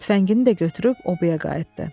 Tüfəngini də götürüb obaya qayıtdı.